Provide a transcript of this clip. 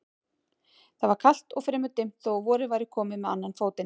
Það var kalt og fremur dimmt þó að vorið væri komið með annan fótinn.